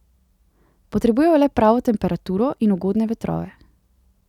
Potrebujejo le pravo temperaturo in ugodne vetrove.